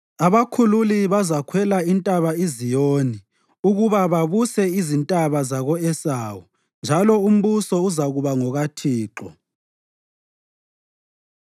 Abakhululi bazakhwela iNtaba iZiyoni ukuba babuse izintaba zako-Esawu. Njalo umbuso uzakuba ngokaThixo.